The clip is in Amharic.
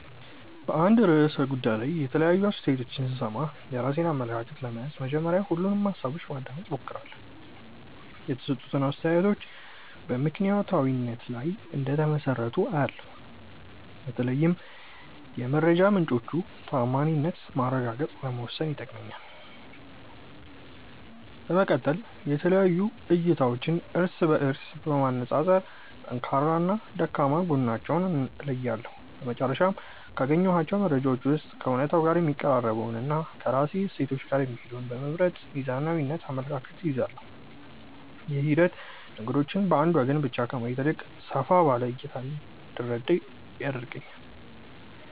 በአንድ ርዕሰ ጉዳይ ላይ የተለያዩ አስተያየቶችን ስሰማ፣ የራሴን አመለካከት ለመያዝ መጀመሪያ ሁሉንም ሃሳቦች ለማዳመጥ እሞክራለሁ። የተሰጡት አስተያየቶች በምክንያታዊነት ላይ እንደተመሰረቱ አያለው፤ በተለይም የመረጃ ምንጮቹን ተዓማኒነት ማረጋገጥ ለመወሰን ይጠቅመኛል። በመቀጠል የተለያዩ እይታዎችን እርስ በእርስ በማነፃፀር ጠንካራና ደካማ ጎናቸውን እለያለሁ። በመጨረሻም፣ ካገኘኋቸው መረጃዎች ውስጥ ከእውነታው ጋር የሚቀራረበውንና ከራሴ እሴቶች ጋር የሚሄደውን በመምረጥ ሚዛናዊ አመለካከት እይዛለሁ። ይህ ሂደት ነገሮችን በአንድ ወገን ብቻ ከማየት ይልቅ ሰፋ ባለ እይታ እንድረዳ ይረዳኛል።